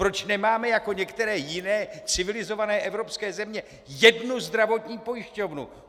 Proč nemáme jako některé jiné civilizované evropské země jednu zdravotní pojišťovnu?